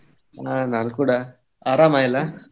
ಹ ನಾನ್ ಕೂಡ ಆರಾಮ ಎಲ್ಲಾ?